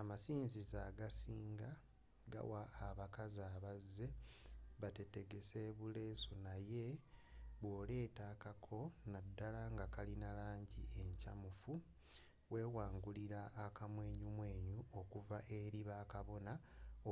amasinzizo agasinga gawa abakazi abazze batetegese buleesu naye bwoleeta akako naddala nga kalina langi enkyamufu wewangulira akamwenyumwenyu okuva eri bakabona